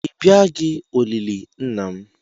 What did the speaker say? ị bịaghị maka olili nna m